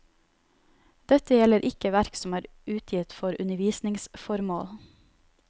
Dette gjelder ikke verk som er utgitt for undervisningsformål.